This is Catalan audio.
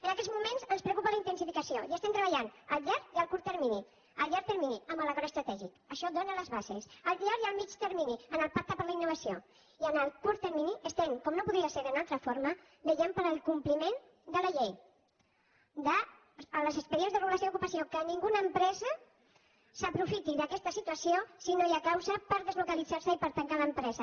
en aquests moments ens preocupa la intensificació i estem treballant a llarg i a curt termini a llarg termini amb l’acord estratègic això dóna les bases a llarg i a mitjà termini amb el pacte per a la innovació i en el curt termini estem com no podria ser d’una altra forma vetllant pel compliment de la llei dels expedients de regulació d’ocupació perquè cap empresa s’aprofiti d’aquesta situació si no hi ha causa per deslocalitzar se i per tancar l’empresa